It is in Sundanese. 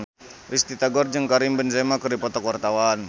Risty Tagor jeung Karim Benzema keur dipoto ku wartawan